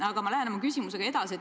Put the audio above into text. Aga ma lähen oma küsimusega edasi.